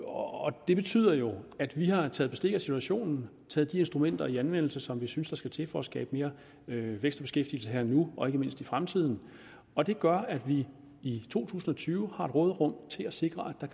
og det betyder jo at vi har taget bestik af situationen og taget de instrumenter i anvendelse som vi synes der skal til for at skabe mere vækst og beskæftigelse her og nu og ikke mindst i fremtiden og det gør at vi i to tusind og tyve her råderum til at sikre at